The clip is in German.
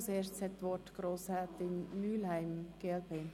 Zuerst spricht Grossrätin Mühlheim, glp.